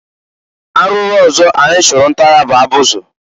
Arụụrụ ọzọ anyị chụrụ nta ya bụ abụzị.